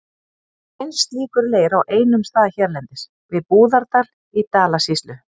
Þó finnst slíkur leir á einum stað hérlendis, við Búðardal í Dalasýslu.